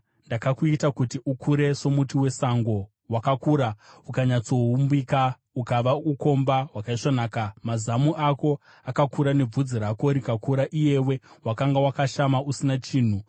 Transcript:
Ndakakuita kuti ukure somuti wesango. Wakakura ukanyatsoumbika ukava ukomba hwakaisvonaka. Mazamu ako akakura nebvudzi rako rikakura, iyewe wakanga wakashama usina chinhu.